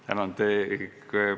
Tänan!